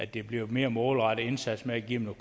det bliver en mere målrettet indsats med at give dem